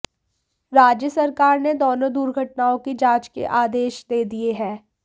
राज्य सरकार ने दोनों दुर्घटनाओं की जांच के आदेश दे दिये हैं